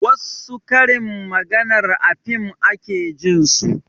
Wassu karin maganar a fim ake jin su